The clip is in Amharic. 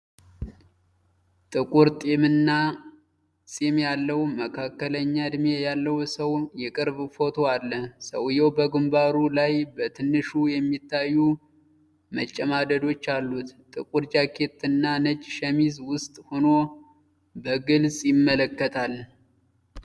ጥቁር ጢምና ፂም ያለው፣ መካከለኛ እድሜ ያለው ሰው የቅርብ ፎቶ አለ። ሰውዬው በግንባሩ ላይ በትንሹ የሚታዩ መጨማደዶች አሉት። ጥቁር ጃኬት እና ነጭ ሸሚዝ ውስጥ ሆኖ በግልጽ ይመለከታል።